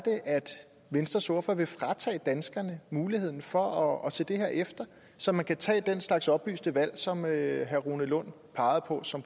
venstres ordfører vil fratage danskerne muligheden for at se det her efter så man kan tage den slags oplyste valg som herre rune lund pegede på som